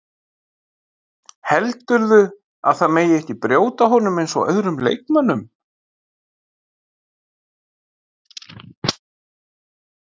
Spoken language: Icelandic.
Heldurðu að það megi ekki brjóta á honum eins og öðrum leikmönnum?